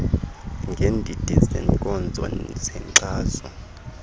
ngeendidi zeenkonzo zenkxaso